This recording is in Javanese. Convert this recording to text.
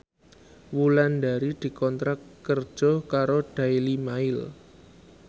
Wulandari dikontrak kerja karo Daily Mail